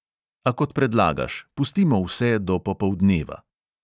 A kot predlagaš, pustimo vse do popoldneva.